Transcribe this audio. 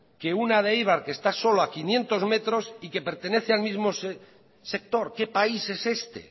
que una de eibar que está solo quinientos metros y que pertenece al mismo sector qué país es este